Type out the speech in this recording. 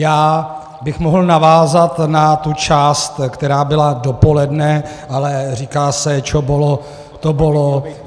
Já bych mohl navázat na tu část, která byla dopoledne, ale říká se "čo bolo, to bolo".